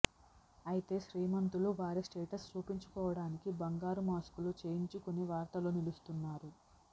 అయితే శ్రీమంతులు వారి స్టేటస్ చూపించుకోవడానికి బంగారు మాస్క్ లు చేయించుకుని వార్తల్లో నిలుస్తున్నారు